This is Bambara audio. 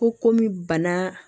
Ko kɔmi bana